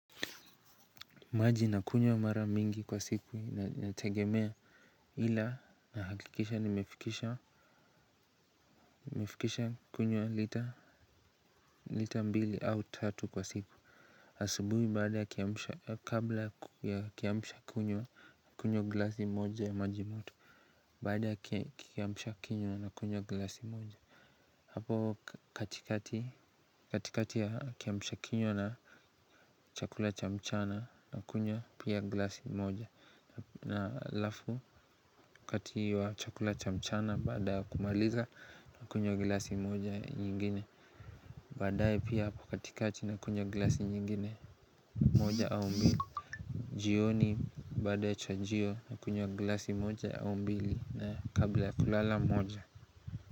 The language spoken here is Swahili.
Maji nakunywa mara mingi kwa siku inategemea ila nahakikisha nimefikisha nimefikisha kunywa lita mbili au tatu kwa siku. Asubuhi baada ya kiamsha kabla ya kiamsha kinywa nakunywa glasi moja ya maji moto. Baada ya kiamsha kinywa nakunywa glasi moja hapo katikati katikati ya kiamsha kinywa na chakula cha mchana nakunywa pia glasi moja na halafu wakati wa chakula cha mchana baada kumaliza nakunywa glasi moja nyingine baadaye pia hapo katikati nakunywa glasi nyingine moja au mbili jioni baada ya chajio na kunywa glasi moja au mbili na kabla ya kulala moja.